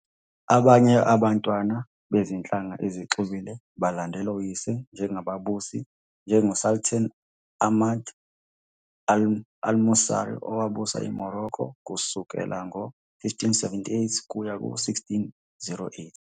Abanye abantwana bezinhlanga ezixubile balandela oyise njengababusi, njengoSultan Ahmad al-Mansur, owabusa iMorocco kusukela ngo-1578 kuya ku-1608.